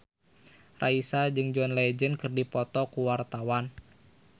Raisa jeung John Legend keur dipoto ku wartawan